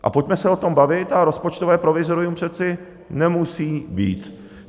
A pojďme se o tom bavit a rozpočtové provizorium přece nemusí být.